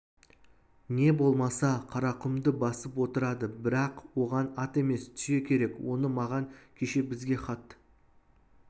не болмаса қарақұмды басып отырады бірақ оған ат емес түйе керек оны маған кеше бізге хат